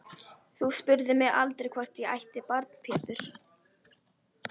Þú spurðir mig aldrei hvort ég ætti barn Pétur.